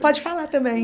Pode falar também.